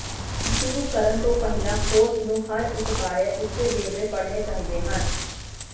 ਸ਼ੁਰੂ ਕਰਨ ਤੋਂ ਪਹਿਲਾਂ ਹੋਸਟ ਨੂੰ ਹਰ ਇਕ ਬਾਰੇ ਉੱਚੇ ਵੇਰਵੇ ਪੜਨੇ ਚਾਹੀਦੇ ਹਨ